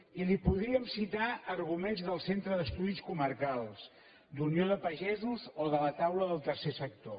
i li podríem citar arguments del centre d’estudis comarcals d’unió de pagesos o de la taula del tercer sector